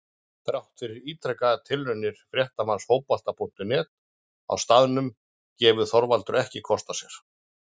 Þrátt fyrir ítrekaðar tilraunir fréttamanns Fótbolta.net á staðnum gaf Þorvaldur ekki kost á sér.